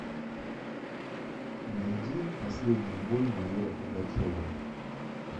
найди последний бой майора пугачева